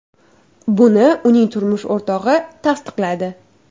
Buni uning turmush o‘rtog‘i tasdiqladi .